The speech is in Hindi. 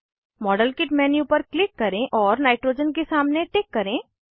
मॉडेलकिट मेन्यू पर क्लिक करें और नाइट्रोजन के सामने टिक करें